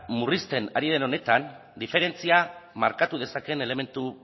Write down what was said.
murrizten ari den honetan diferentzia markatu dezakeen elementu